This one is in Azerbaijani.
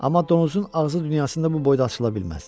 Amma donuzun ağzı dünyasında bu boyda açıla bilməz.